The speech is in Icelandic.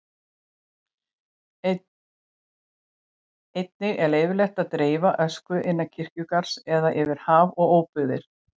Einnig er leyfilegt að dreifa ösku innan kirkjugarðs eða yfir haf og óbyggðir.